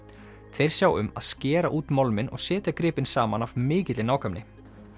þeir sjá um að skera út málminn og setja gripinn saman af mikilli nákvæmni